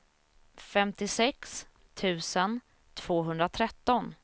femtiosex tusen tvåhundratretton